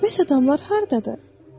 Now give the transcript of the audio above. Bəs adamlar hardadır?